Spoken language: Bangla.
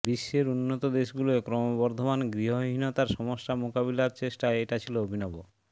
বিশ্বের উন্নত দেশগুলোয় ক্রমবর্ধমান গৃহহীনতার সমস্যা মোকাবিলার চেষ্টায় এটা ছিল অভিনব